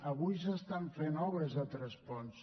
avui s’estan fent obres a tres ponts